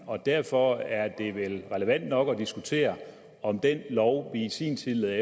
og derfor er det vel relevant nok at diskutere om den lov vi i sin tid